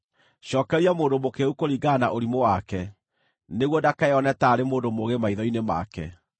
Cookeria mũndũ mũkĩĩgu kũringana na ũrimũ wake, nĩguo ndakeyone taarĩ mũndũ mũũgĩ maitho-inĩ make.